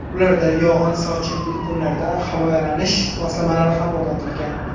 Ularda yog‘in-sochinli kunlarda himoyalanish moslamalari ham o‘rnatilgan.